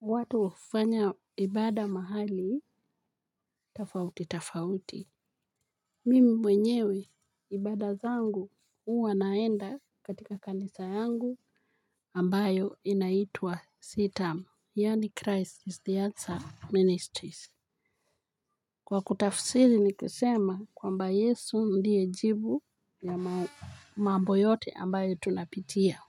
Watu hufanya ibada mahali, tafauti, tafauti. Mimi mwenyewe, ibada zangu, huwa naenda katika kanisa yangu, ambayo inaitwa sitam. Yaani Christ is the answer, ministries. Kwa kutafsiri ni kusema kwamba yesu ndiye jibu ya mambo yote ambayo tunapitia.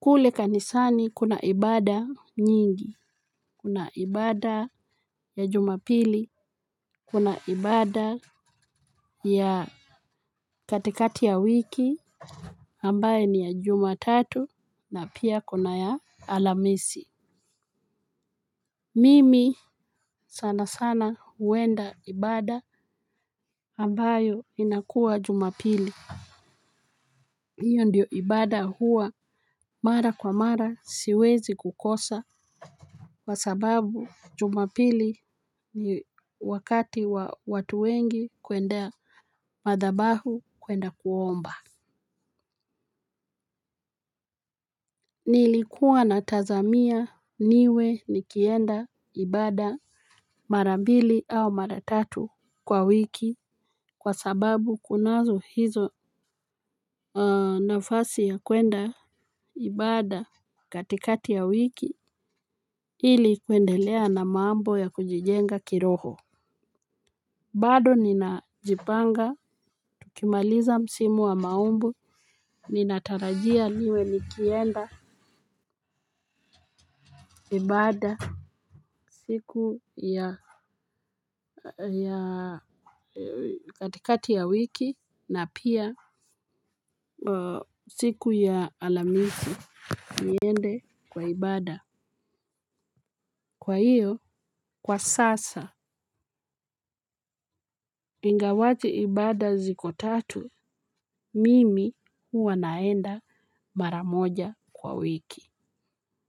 Kule kanisani kuna ibada nyingi, kuna ibada ya jumapili. Kuna ibada ya katikati ya wiki ambayo ni ya jumatatu na pia kuna ya alhamisi. Mimi sana sana huenda ibada ambayo inakua jumapili. Iyo ndio ibada huwa mara kwa mara siwezi kukosa kwa sababu jumapili ni wakati wa watu wengi kuendea madhabahu kuenda kuomba. Nilikuwa natazamia niwe nikienda ibada mara mbili au mara tatu kwa wiki kwa sababu kunazo hizo nafasi ya kwenda ibada katikati ya wiki ili kuendelea na mambo ya kujijenga kiroho. Bado ninajipanga tukimaliza msimu wa maombj ninatarajia niwe nikienda ibada siku ya katikati ya wiki na pia siku ya alhamisi niende kwa ibada. Kwa hiyo kwa sasa ingawaje ibada ziko tatu mimi huwa naenda mara moja kwa wiki.